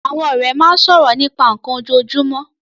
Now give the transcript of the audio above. Àwọn ọ̀rẹ́ máa ń sọ̀rọ̀ nípa nnkan ojoojúmọ́